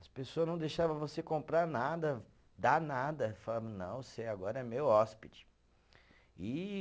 As pessoa não deixava você comprar nada, dar nada, falava, não, você agora é meu hóspede. E